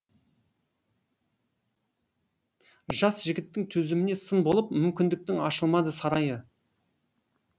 жас жігіттің төзіміне сын болып мүмкіндіктің ашылмады сарайы